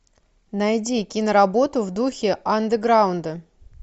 найди киноработу в духе андеграунда